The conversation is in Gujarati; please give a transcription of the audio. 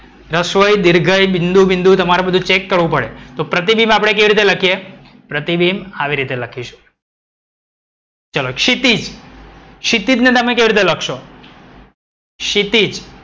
રશવાઈ દીર્ઘઈ બિંદુ બિંદુ તમારે ચેક કરવું પડે. તો પ્રતિબિંબ આપણે કેવી રીતે લખીએ. પ્રતિબિંબ આવી રીતે લખીએ. ચલી ક્ષિતિજ. ક્ષિતિજ ને તમે કેવી રીતે લખશો? ક્ષિતિજ.